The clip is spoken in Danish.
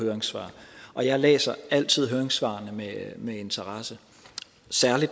høringssvar og jeg læser altid høringssvarene med interesse